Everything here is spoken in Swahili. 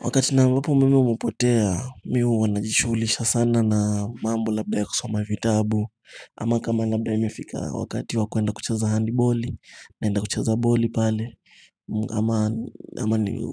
Wakati na ambapo umeme umapotea mi huwa najishugulisha sana na mambo labda ya kusoma vitabu Ama kama labda imefika wakati wa kuenda kucheza handiboli naenda kucheza boli pale